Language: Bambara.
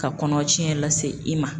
Ka kɔnɔcɛn lase i ma.